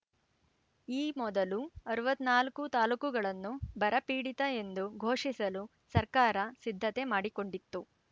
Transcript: ಈ ಮೊದಲು ಅರವತ್ತ್ ನಾಲ್ಕು ತಾಲೂಕುಗಳನ್ನು ಬರ ಪೀಡಿತ ಎಂದು ಘೋಷಿಸಲು ಸರ್ಕಾರ ಸಿದ್ದತೆ ಮಾಡಿಕೊಂಡಿತ್ತು